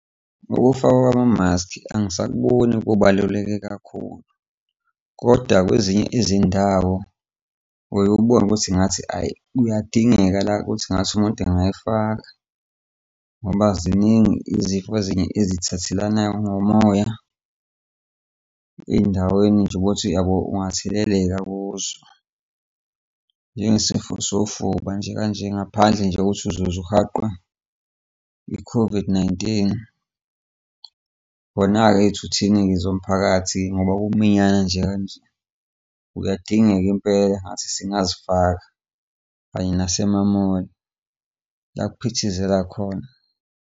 Ukufakwa kwamaskhi angisakuboni kubaluleke kakhulu, kodwa kwezinye izindawo uye ubone ukuthi ngathi, ayi, kuyadingeka la ukuthi ngathi umuntu engayifaka ngoba ziningi izifo ezinye ezithathelanayo ngomoya ey'ndaweni nje ubone ukuthi yabo angatheleleka kuzo, njengesifo sofuba nje kanje, ngaphandle nje kokuthi uzoze uhaqwe i-COVID-19. Kona-ke iy'thuthi ey'ningi zomphakathi ngoba kuminyanwa nje kanjani kuyadingeka impela, ngathi singazifaka kanye nasemamoli la kuphithizela khona.